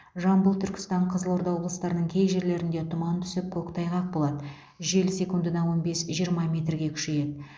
жамбыл түркістан қызылорда облыстарының кей жерлерінде тұман түсіп коктайғақ болады жел секундына он бес жиырма метрге күшейеді